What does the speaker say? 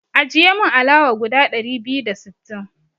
Ajiye min alawa guda ɗari biyu da sittin.